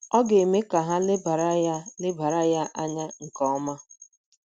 Ọ ga - eme ka ha lebara ya lebara ya anya nke um ọma.